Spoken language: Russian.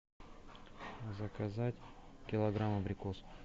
заказать килограмм абрикосов